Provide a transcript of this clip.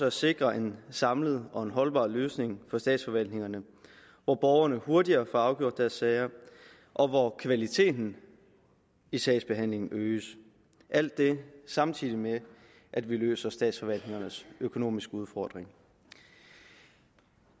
at sikre en samlet og en holdbar løsning for statsforvaltningerne hvor borgerne hurtigere får afgjort deres sager og hvor kvaliteten i sagsbehandlingen øges alt det samtidig med at vi løser statsforvaltningernes økonomiske udfordringer